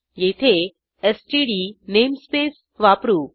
येथे STD namespace वापरू